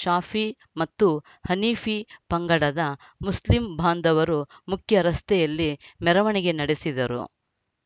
ಶಾಫಿ ಮತ್ತು ಹನೀಫಿ ಪಂಗಡದ ಮುಸ್ಲಿಂ ಭಾಂದವರು ಮುಖ್ಯ ರಸ್ತೆಯಲ್ಲಿ ಮೆರವಣಿಗೆ ನಡೆಸಿದರು